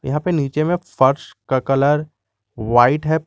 यहां पे नीचे में फर्श कलर व्हाइट है।